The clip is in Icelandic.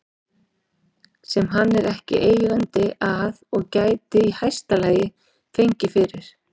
sem hann er ekki eigandi að og gæti í hæsta lagi fengið fyrir